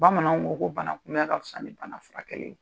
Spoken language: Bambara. Bamanaw ko ko bana kun bɛ ka fisa ni bana fura kɛ ye.